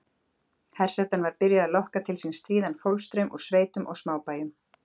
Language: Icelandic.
Hersetan var byrjuð að lokka til sín stríðan fólksstraum úr sveitunum og smábæjunum.